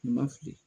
U ma fili